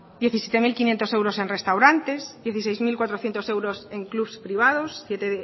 diecisiete mil quinientos euros en restaurantes dieciséis mil cuatrocientos euros en club privados siete